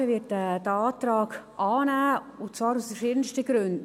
Die SP wird den Antrag annehmen, und zwar aus verschiedensten Gründen.